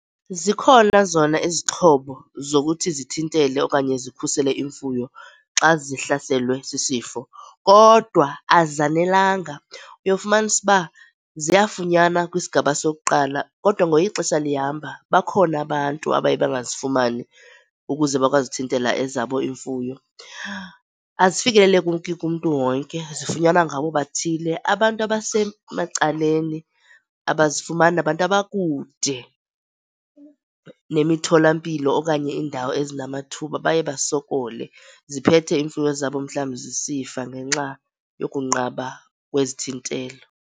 Zikhona zona izixhobo zokuthi zithintele okanye zikhusele imfuyo xa zihlaselwe sisifo kodwa azanelanga. Uyofumanisa uba ziyafunyanwa kwisigaba sokuqala kodwa ngokuye ixesha lihamba bakhona abantu abaye bangazifumani ukuze bakwazi uthintela ezabo iimfuyo. Azifikeleleki kumntu wonke. Zifunyanwa ngabo bathile. Abantu abasemacaleni abazifumani, nabantu abakude nemithola-mpilo okanye iindawo ezinamathuba baye basokole, ziphethe iimfuyo zabo mhlawumbi zisifa ngenxa yokunqaba kwezithintelo.